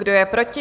Kdo je proti?